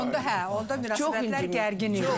Onda hə, onda münasibətlər gərgin idi.